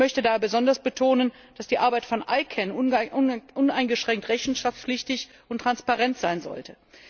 Ich möchte daher besonders betonen, dass die Arbeit von ICANN uneingeschränkt rechenschaftspflichtig und transparent sein sollte.